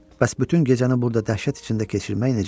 Bəs bütün gecəni burda dəhşət içində keçirmək necə?